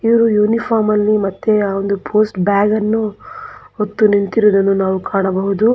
ಇವ್ರು ಯುನಿಫಾರ್ಮ್ ಅಲ್ಲಿ ಮತ್ತೆ ಆ ಒಂದು ಪೋಸ್ಟ್ ಬ್ಯಾಗ್ ಅನ್ನು ಹೊತ್ತು ನಿಂತಿರುವುದನ್ನು ಕಾಣಬಹುದು.